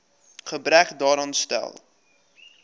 gebrek daaraan stel